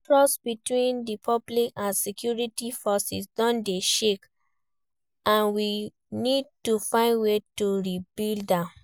Trust between di public and security forces don dey shake, and we need to find way to rebuild am.